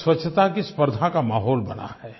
एक स्वच्छता की स्पर्द्धा का माहौल बना है